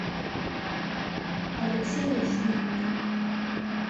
алексею шмидту